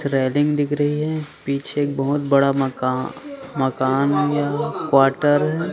थ्रेलिंग दिख रही है पीछे एक बहोत बड़ा मका मकान या क्वार्टर है।